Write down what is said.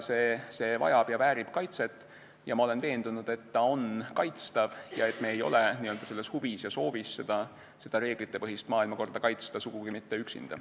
See vajab ja väärib kaitset ning ma olen veendunud, et ta on kaitstav ja et me ei ole huvi ja sooviga seda reeglitepõhist maailmakorda kaitsta sugugi mitte üksinda.